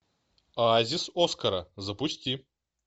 оазис оскара запусти